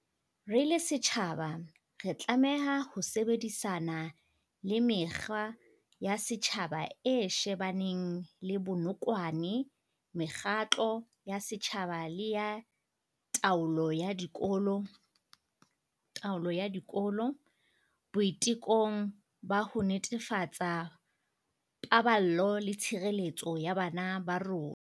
Re le setjhaba, re tlameha ho sebedisana le Mekga ya Setjhaba e shebaneng le Bonokwane mekgatlo ya setjhaba le ya taolo ya dikolo boitekong ba ho netefatsa paballo le tshireletso ya bana ba rona.